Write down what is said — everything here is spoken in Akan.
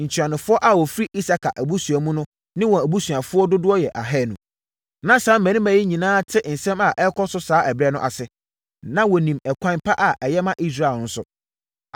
Ntuanofoɔ a wɔfiri Isakar abusuakuo mu ne wɔn abusuafoɔ dodoɔ yɛ ahanu. Na saa mmarima yi nyinaa te nsɛm a ɛrekɔ so saa ɛberɛ no ase, na wɔnim ɛkwan pa a ɛyɛ ma Israel nso.